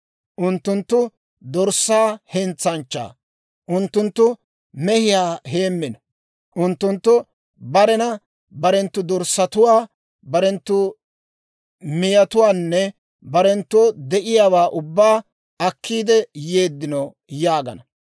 Unttunttu dorssaa hentsanchchaa; unttunttu mehiyaa heemmino; unttunttu barenana barenttu dorssatuwaa, barenttu miyatuwaanne barenttoo de'iyaawaa ubbaa akkiidde yeeddino› yaagana.